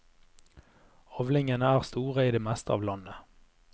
Avlingene er store i det meste av landet.